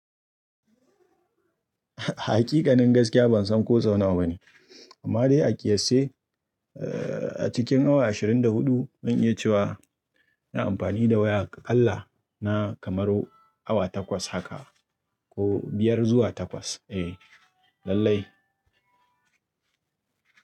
Haƙiƙanin gaskiya ban san ko sau nawa ba ne. Amma dai a ƙiyasce, eh, a cikin awa ashirin da huɗu, zan iya cewa ina amfani da waya aƙalla na kamar awa takwas haka ko biyar zuwa takwas. Eh, lallai.